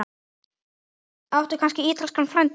Áttu kannski ítalskan frænda?